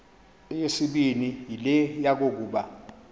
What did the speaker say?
eyesibini yile yokokuba